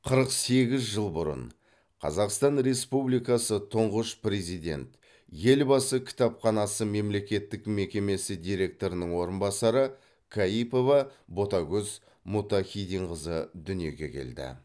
қырық сегіз жыл бұрын қазақстан республикасы тұңғыш президент елбасы кітапханасы мемлекеттік мекемесі директорының орынбасары каипова ботагөз мұттахиденқызы дүниеге келді